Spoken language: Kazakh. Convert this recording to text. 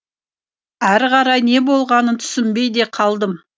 ары қарай не болғанын түсінбей де қалдым